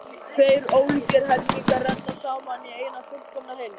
Tveir ólíkir helmingar renna saman í eina fullkomna heild.